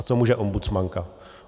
A co může ombudsmanka?